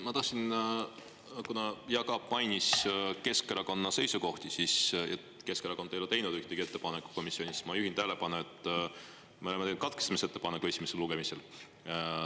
Ma tahtsin öelda, kuna Jaak Aab mainis Keskerakonna seisukohti, et Keskerakond ei ole teinud ühtegi ettepanekut komisjonis, siis ma juhin tähelepanu, et me oleme teinud katkestamisettepaneku esimesel lugemisel.